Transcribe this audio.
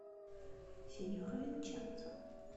синьор винченцо